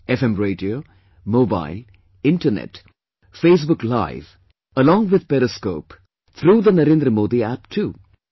, FM Radio, Mobile, Internet, Facebook Live; along with periscope, through the NarendraModiApp too